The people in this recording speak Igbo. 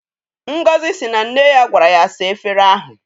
Ngozi si na nne ya gwara ya saa efere ahụ.